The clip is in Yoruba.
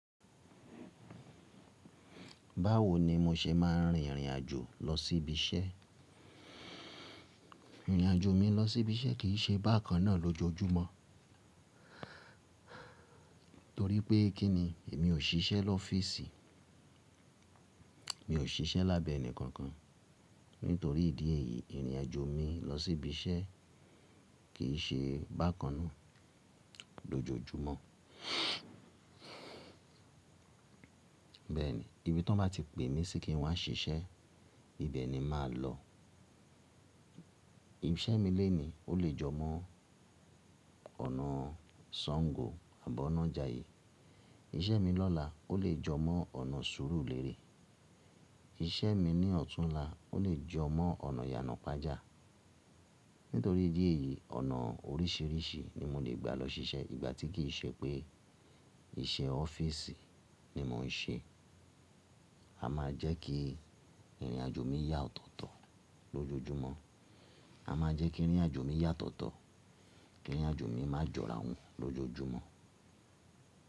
Báwo ni mo se máa n rìn ìrìn àjò lọ síbi iṣẹ́? Ìrìn àjò mi lọ sí ibi iṣẹ́ kì í ṣe bákan náà lójoójúmọ́. Torí pé kí ni èmi ò ṣiṣẹ́ l'ọ́fíìsì, mi ò ṣiṣẹ́ lábẹ́ ẹnì kankan. Nítorí ìdí èyí ìrìn àjò mi lọ sí ibi iṣẹ́ kì í ṣe bákan náà lójoójúmọ́. Bẹ́ẹ̀ni ibi tí wọ́n bá ti pè mí sí kí n wá ṣiṣẹ́ ibẹ̀ ni màá lọ. Ìṣẹ́ mi léni o lè jọ mọ́ ọ̀nà Sàngó àbọ́ ọ̀nà Jàyè. Ìṣẹ́ mi lọ́la o lè jọ mọ́ ọ̀nà Sùúrùlérè. Ìṣẹ́ mi ní ọ̀túnla o lè jọ mọ́ ọ̀nà Yànàpájá. Nítorí ìdí èyí ọ̀nà oríṣiríṣi ni mo le gbà lọ ṣiṣẹ́ ìgbà tí kì í ṣe pé iṣẹ́ ọ́fíìsì ni mò ń ṣe. A máa jẹ́ kí ìrìn àjò mi yà tọ̀tọ̀ lójoójúmọ́. A máa jẹ́ kí ìrìn àjò mi yà tọ̀tọ̀, kí ìrìn àjò mi má jọ ara wọn lójoójúmọ́.